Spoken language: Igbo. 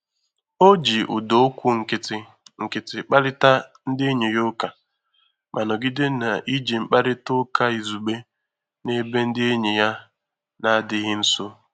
O ji ụda okwu nkịtị nkịtị kparịta ndị enyi ya ụka, ma nọgide n'iji nkparịta ụka izugbe n'ebe ndị enyi ya na-adịghị nso.